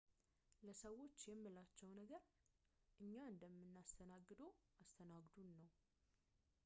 ለሰዎች የምላቸው ነገር እኛ እንደምናስተናግድዎ አስተናግዱን ነው